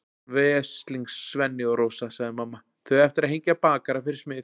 Veslings Svenni og Rósa, sagði mamma, þau eiga eftir að hengja bakara fyrir smið.